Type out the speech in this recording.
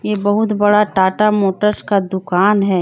ये बहुत बड़ा टाटा मोटर्स का दुकान है।